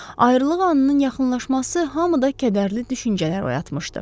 Ayrılıq anının yaxınlaşması hamıda kədərli düşüncələr oyatmışdı.